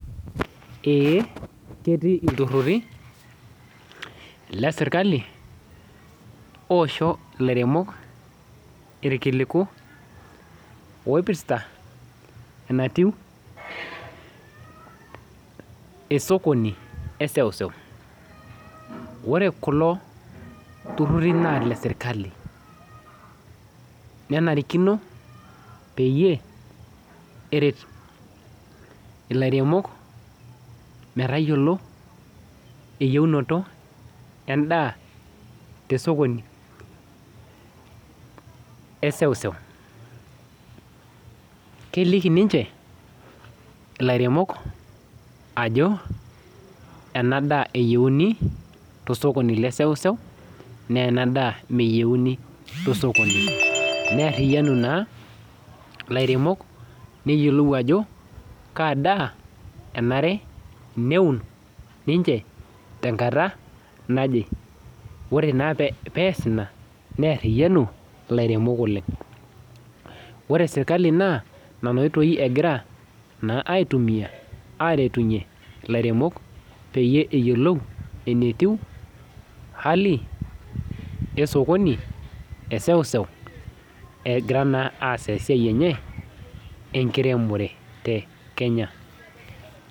Eh ketii ilturruri lesirakali osho ilairemok irkiliku oipirrta enatiu esokoni eseuseu ore kulo turruri naa ile sirkali nenarikino peyie eret ilairemok metayiolo eyieunoto endaa tesokoni eseuseu keliki ninche ilairemok ajo ena daa eyieuni tosokoni leseuseu naa ena daa meyieuni tosokoni nearriyianu naa ilairemok neyiolou ajo kaa daa enare neun ninche tenkata naje ore naa pe pees ina nearriyianu ilairemok oleng ore sirkali naa nana oitoi egira naa aitumiyia aretunyie ilaremok peyie eyiolou enetiu hali esokoni eseuseu egira naa aas esiai enye enkiremore te kenya.